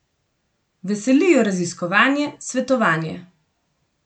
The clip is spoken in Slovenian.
Veseli jo raziskovanje, svetovanje.